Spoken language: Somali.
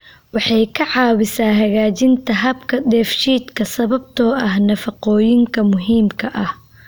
Waxay ka caawisaa hagaajinta habka dheefshiidka sababtoo ah nafaqooyinka muhiimka ah.